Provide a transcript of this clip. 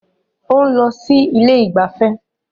Ó ń lọ sí ilé ìgbafẹ́